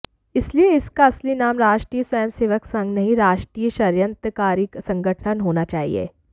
इसलिए इसका असली नाम राष्ट्रीय स्वयं सेवक संघ नहीं राष्ट्रीय षड्यंत्रकारी संगठन होना चाहिए